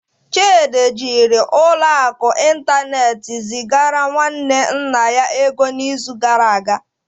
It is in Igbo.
Chidi jiri ụlọ akụ ịntanetị zigara nwanne nna ya ego n'izu gara aga.